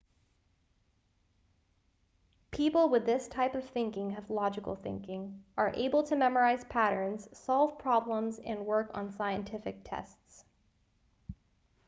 people with this type of thinking have logical thinking are able to memorize patterns solve problems and work on scientific tests